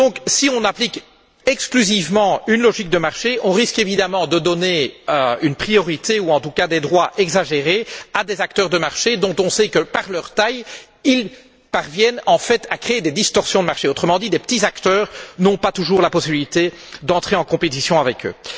Si on applique exclusivement une logique de marché, on risque évidemment de donner une priorité ou, en tout cas, des droits exagérés à des acteurs de marché dont on sait que, par leur taille, ils parviennent à créer des distorsions de marché, autrement dit que de petits acteurs n'ont pas toujours la possibilité d'entrer en compétition avec eux.